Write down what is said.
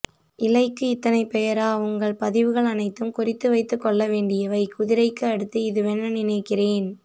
இலைக்கு இத்தனை பெயரா உங்கள் பதிவுகள் அனைத்தும் குறித்து வைத்து கொள்ள வேண்டியவை குதிரை க்கு அடுத்து இதுவென நினைக்கிறேன்